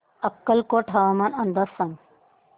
अक्कलकोट हवामान अंदाज सांग